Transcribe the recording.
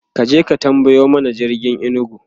kaje ka tambayo mana jirgin inugu!